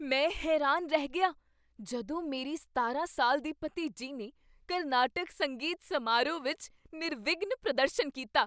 ਮੈਂ ਹੈਰਾਨ ਰਹਿ ਗਿਆ ਜਦੋਂ ਮੇਰੀ ਸਤਾਰਾਂ ਸਾਲ ਦੀ ਭਤੀਜੀ ਨੇ ਕਰਨਾਟਕ ਸੰਗੀਤ ਸਮਾਰੋਹ ਵਿੱਚ ਨਿਰਵਿਘਨ ਪ੍ਰਦਰਸ਼ਨ ਕੀਤਾ